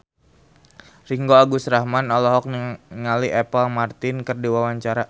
Ringgo Agus Rahman olohok ningali Apple Martin keur diwawancara